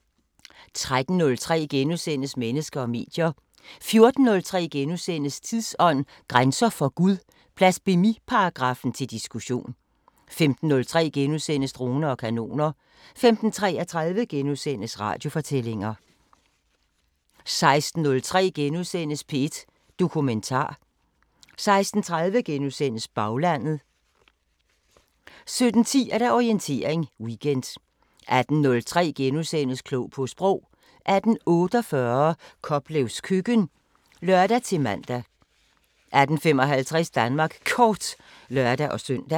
13:03: Mennesker og medier * 14:03: Tidsånd: Grænser for Gud – blasfemiparagraffen til diskussion * 15:03: Droner og kanoner * 15:33: Radiofortællinger * 16:03: P1 Dokumentar * 16:30: Baglandet * 17:10: Orientering Weekend 18:03: Klog på Sprog * 18:48: Koplevs Køkken (lør-man) 18:55: Danmark Kort (lør-søn)